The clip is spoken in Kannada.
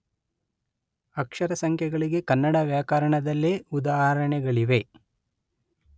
ಅಕ್ಷರಸಂಖ್ಯೆಗಳಿಗೆ ಕನ್ನಡ ವ್ಯಾಕರಣದಲ್ಲೇ ಉದಾಹರಣೆಗಳಿವೆ.